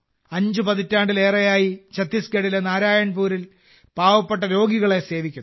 അഞ്ച് പതിറ്റാണ്ടിലേറെയായി ഛത്തീസ്ഗഡിലെ നാരായൺപൂരിൽ പാവപ്പെട്ട രോഗികളെ സേവിക്കുന്നു